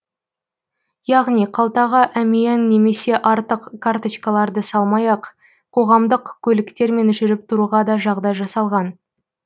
яғни қалтаға әмиян немесе артық карточкаларды салмай ақ қоғамдық көліктермен жүріп тұруға да жағдай жасалған